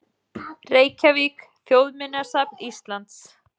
Reykjavík: Þjóðminjasafn Íslands.